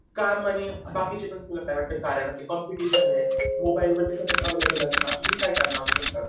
काम आणि बाकीचे पण तुला काय वाटतं कारण असं कॉम्पिटिशन आहे मोबाईल वरती सर्व अवेलेलेबल असणार आणि काय कारण असू शकतात?